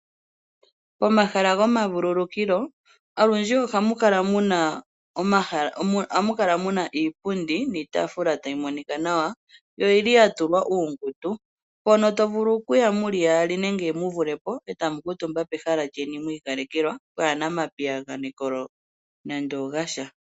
Omahala gomavululukilo olundji ohamu kala muna iipundi niitaafula tayi monika nawa. Yo oyili yatulwa uungundu , mpono tamu vulu okuya muli yaali nenge muvulepo etamu kuutumba pehala lyeni mwiikalekelwa, pwana omapiyagano nande ogasha.